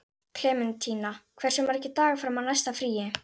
Klementína, hversu margir dagar fram að næsta fríi?